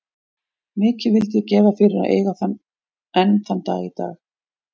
Mikið vildi ég gefa fyrir að eiga það enn þann dag í dag.